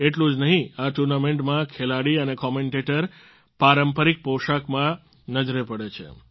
એટલું જ નહીં આ ટુર્નામેન્ટમાં ખેલાડી અને કોમેન્ટેટર પારંપારિક પોષાકમાં નજરે પડે છે